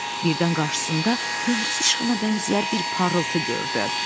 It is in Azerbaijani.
Birdən qarşısında gündüz işığına bənzəyər bir parıltı gördü.